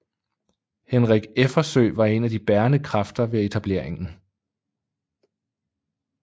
Henrik Effersøe var en af de bærende kræfter ved etableringen